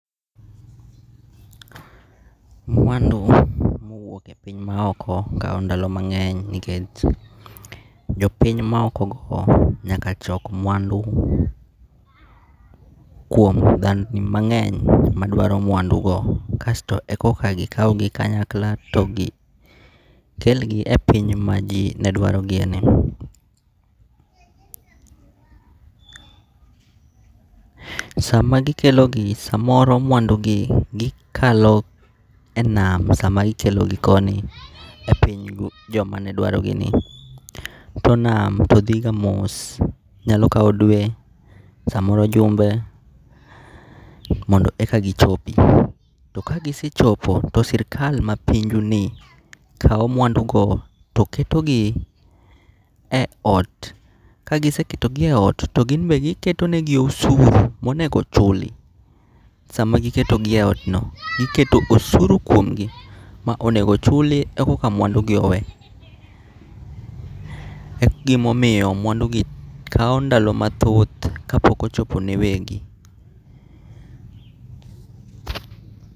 Mwandu ma owuok e piny ma oko kao ndalo mange'ny nikech jopiny maokogo nyaka chok mwandu kuom dhandni mange'ny madwaro mwandugo kasto e koka gikaugi kanyakla to gi kelgi e piny ma ji nedwarogi eni. Sama gikelogi samoro mwandugi gikaloe nam sama gikelogi koni e pinygo jamane dwarogini to nam to thiga mos, nyalo kau dwe samoro jumbe mondo eka gichopi, kagisechopo to sirikal ma pinjugi kao mwandugo to ketogi e ot kagiseketogie ot to gi be giketonegi osuru monego chuli samagiketogi e otno giketo osuru kuomgi monego ochuli eka mwandugi owe, e gimomiyo mwandugi kao ndalo mathoth ka pok ochopone gi wegi .